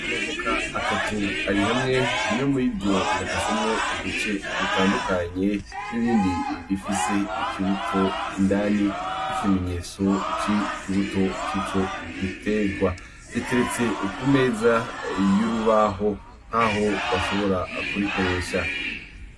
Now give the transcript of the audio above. Amavuka atatu ari hamwe rimwe muri ryo rirakasemwo uduce dutandukanye n'irindi rifise ikibuto indani k'ikimenyetso c'i kibuto c'ico giterwa riteretse ku meza y'urubaho k'aho bashobora kurikoresha.